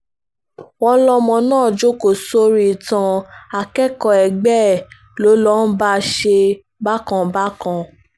wọ́n lọmọ náà jókòó sórí ìtàn akẹ́kọ̀ọ́ ẹgbẹ́ ẹ̀ ló ló bá ń ṣe bákan bákan